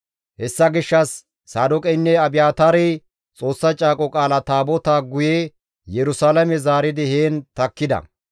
Hessa gishshas Saadooqeynne Abiyaataarey Xoossa Caaqo Qaala Taabotaa guye Yerusalaame zaaridi heen takkida.